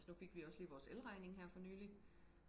altså nu fik vi også lige vores elregning her for nylig